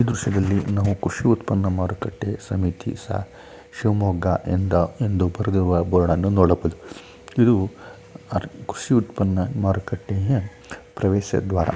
ಈ ದೃಶ್ಯದಲ್ಲಿ ನಾವು ಕೃಷಿ ಉತ್ಪನ್ನ ಮಾರುಕಟ್ಟೆ ಸಮಿತಿ ಶಿವಮೊಗ್ಗ ಎಂದು ಬರೆದಿರುವ ಬೋರ್ಡ್ ಅನ್ನು ನೋಡಬಹುದು. ಇದು ಕೃಷಿ ಉತ್ಪನ್ನ ಮಾರುಕಟ್ಟೆಯ ಪ್ರವೇಶ ದ್ವಾರ.